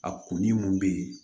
A kun be yen